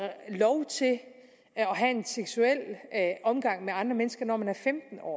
have en seksuel omgang med andre mennesker når man er femten år